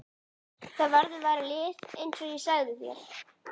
Það verður valið lið eins og ég sagði þér.